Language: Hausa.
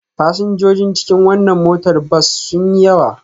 Fasinjojin cikin wannan motar bas sun yi yawa.